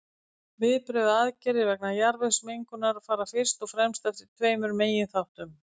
Viðbrögð og aðgerðir vegna jarðvegsmengunar fara fyrst og fremst eftir tveimur meginþáttum.